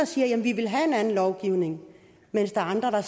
siger at de vil have en anden lovgivning mens der er andre der